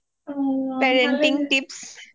parenting tips